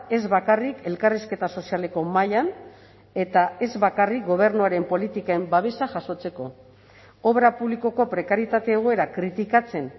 ez bakarrik elkarrizketa sozialeko mahaian eta ez bakarrik gobernuaren politiken babesa jasotzeko obra publikoko prekarietate egoera kritikatzen